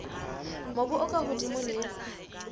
mobu o ka hodimo le